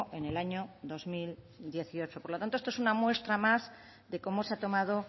en el año dos mil dieciocho por lo tanto esto es una muestra más de cómo se ha tomado